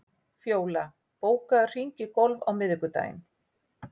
Fjóla, bókaðu hring í golf á miðvikudaginn.